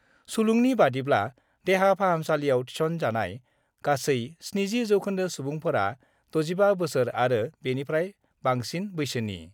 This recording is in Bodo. सुलुंनि बादिब्ला, देहा फाहामसालिआव थिसनजानाय गासै 70 जौखोन्दो सुबुंफोरा 65 बोसोर आरो बेनिफ्राय बांसिन बैसोनि।